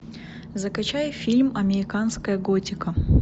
закачай фильм американская готика